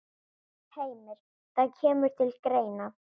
Heimir: Það kemur til greina?